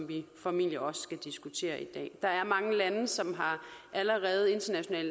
vi formentlig også skal diskutere i dag der er mange lande som allerede internationalt